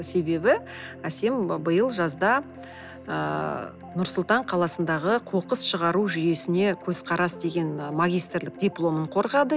себебі әсем биыл жазда ыыы нұр сұлтан қаласындағы қоқыс шығару жүйесіне көзқарас деген і магистрлік дипломын қорғады